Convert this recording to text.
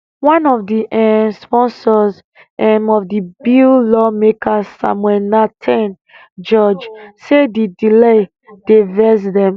one of di um sponsors um of di bill lawmaker samuel nartey george say di delay dey vex dem